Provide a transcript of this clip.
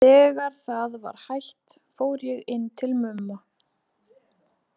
Þegar það var hætt fór ég inn til Mumma.